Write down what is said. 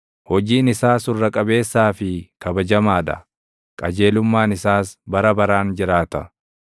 Hojiin isaa surra qabeessaa fi kabajamaa dha; qajeelummaan isaas bara baraan jiraata.